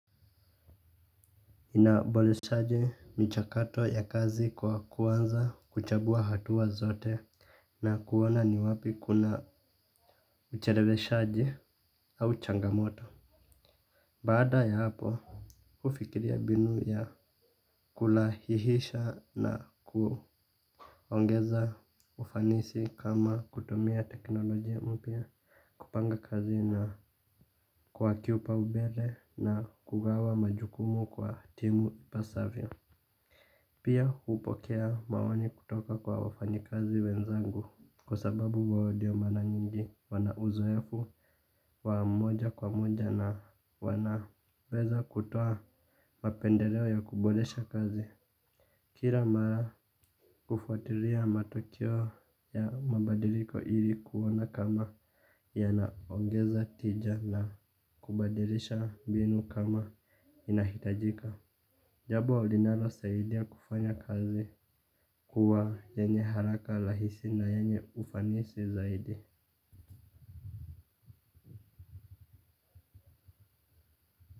Inabole shaje michakato ya kazi kwa kuanza kuchambua hatuwa zote. Na kuona ni wapi kuna ucherebeshaji au changamoto. Baada ya hapo ufikiria binu ya kulahihisha na kuongeza ufanisi kama kutumia teknolojia mpya. Kupanga kazi na kuwa kiupaubele na kugawa majukumu kwa timu ipasavyo. Pia upokea maoni kutoka kwa wafanyikazi wenzangu kwa sababu wao ndio mara nyingi wana uzoefu wa moja kwa moja na wanaweza kutoa mapendeleo ya kuboresha kazi. Kila mara kufuatilia matokeo ya mabadiliko ili kuona kama yanaongeza tija na kubadilisha mbinu kama inahitajika. Jabo linalo saidia kufanya kazi kuwa yenye haraka lahisi na yenye ufanisi zaidi.